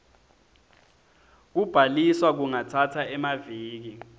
kubhaliswa kungatsatsa emaviki